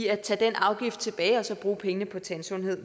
at tage den afgift tilbage og bruge pengene på tandsundhed